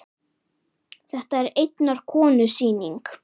Þetta er einnar konu sýning.